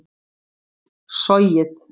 sogið